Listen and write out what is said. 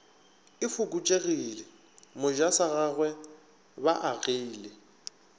e fokotšegile mojasagagwe ba agile